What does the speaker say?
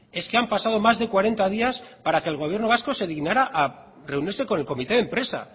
es que han pasado más de cuarenta días para que el gobierno vasco se dignara a reunirse con el comité de empresa